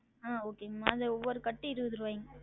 ஆஹ் okay ங்கம்மா அது ஒவ்வொரு கட்டும் இருவது ருவாய்ங்க